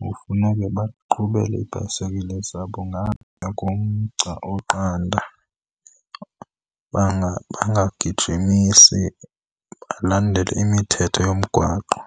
kufuneke baqhubele ibhayisikile zabo ngaphaya komgca oqanda, bangagijimisi, balandele imithetho yomgwaqo.